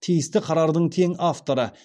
тиісті қарардың тең авторы